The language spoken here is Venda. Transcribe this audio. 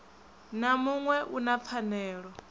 na muṋwe u na pfanelo